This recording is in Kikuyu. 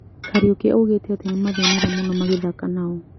Kariuki niaugete atĩ nĩmathĩnire mũno magĩthaka nao